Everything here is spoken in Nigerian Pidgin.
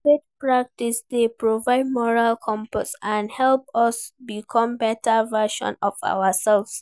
Faith practices dey provide moral compass and help us become better versions of ourselves.